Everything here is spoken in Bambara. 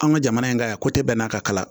An ka jamana in ka yan bɛn'a ka kalan